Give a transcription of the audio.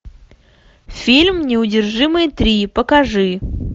фильм неудержимые три покажи